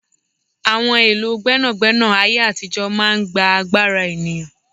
Àwọn èlò gbẹ́nàgbẹ́nà ayé àtijó máa ń gbà agbára ènìyàn